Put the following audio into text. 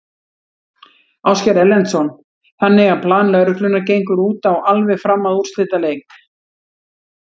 Ásgeir Erlendsson: Þannig að plan lögreglunnar gengur út á alveg fram að úrslitaleik?